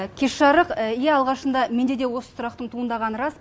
кеш жарық иә алғашында менде де осы сұрақ туындағаны рас